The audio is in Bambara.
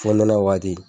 Fonɛnɛ waati